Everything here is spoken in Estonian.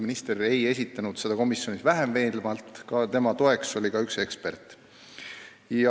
Minister ei esitlenud seda komisjonis vähem veenvalt ja talle oli toeks ka üks ekspert.